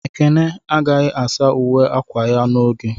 Ekene agaghị asa uwe akwa ya n'oge.